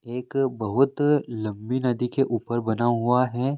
एक बहुत लंबी नदी के ऊपर बना हुआ है।